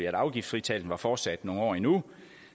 at afgiftsfritagelsen var fortsat nogle år endnu